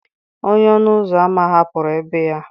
Onye ọnụ ụzọ ámá hapụrụ ébé ya.